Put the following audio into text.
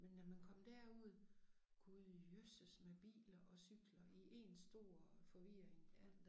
Men når man kom derud Gud jøsses med biler og cykler i 1 stor forvirring ja